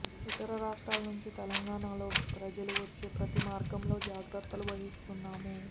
ఇతర రాష్ట్రాల నుంచి తెలంగాణలోకి ప్రజలు వచ్చే ప్రతి మార్గంలో జాగ్రత్తలు వహిస్తున్నాము